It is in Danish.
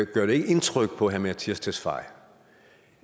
gør det ikke indtryk på herre mattias tesfaye